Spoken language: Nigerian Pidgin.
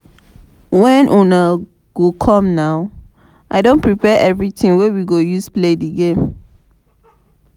wen una dey come na? i don prepare everything wey we go use play the game